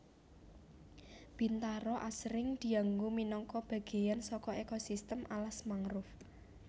Bintaro asring dianggo minangka bagéyan saka ekosistem alas mangrove